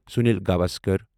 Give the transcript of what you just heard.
Sunil Gavaskar